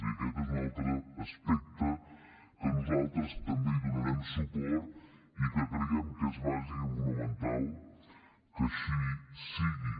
i aquest és un altre aspecte a què nosaltres també donarem suport i que creiem que és bàsic i fonamental que així sigui